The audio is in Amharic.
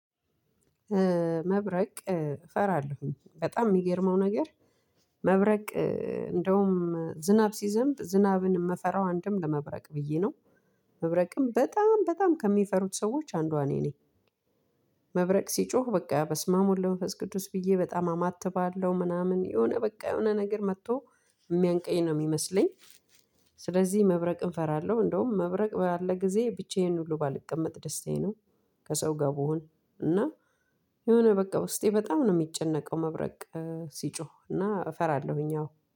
መብረቅ እፈራለሁኝ በጣም ሚገርመው ነገር መብረቅ እንደውም ዝናብ ሲዘንብ ዝናብን ምፈራው አንድም ለመብረቅ ብዬ ነው መብረቅን በጣም በጣም ከሚፈሩ ሰዎች አንዷ እኔ ነኝ። መብረቅ ሲጮህ በቃ በስማም ወልደ መንፈስ ቅዱስ ብዬ በጣም አማትባለሁ ምናምን የሆነ በቃ የሆነ ነገር መጥቶ የሚያንቀኝ ነው የሚመስለኝ። ስለዚህ መብረቅን እፈራለሁ እንደውም መብረቅ ባለ ጊዜ ብቻዬን ሁሉ ባልቀመጥ ደስታዬ ነው። ከሰው ጋር ብሆን እና የሆነ በቃ ውስጤ በጣም ነው የሚጨነቀው መብረቅ ሲጮህ እና እፈራለሁኝ አዎ